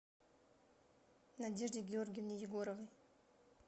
надежде георгиевне егоровой